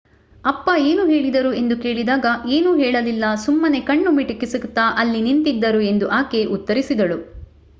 ಅಪ್ಪ ಏನು ಹೇಳಿದರು ಎಂದು ಕೇಳಿದಾಗ ಏನೂ ಹೇಳಲಿಲ್ಲ ಸುಮ್ಮನೆ ಕಣ್ಣು ಮಿಟುಕಿಸುತ್ತಾ ಅಲ್ಲಿ ನಿಂತಿದ್ದರು ಎಂದು ಆಕೆ ಉತ್ತರಿಸಿದಳು